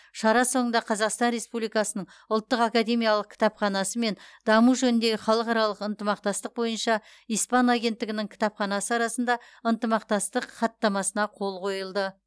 шара соңында қазақстан республикасының ұлттық академиялық кітапханасы мен даму жөніндегі халықаралық ынтымақтастық бойынша испан агенттігінің кітапханасы арасында ынтымақтастық хаттамасына қол қойылды